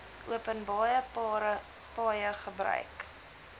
openbare paaie gebruik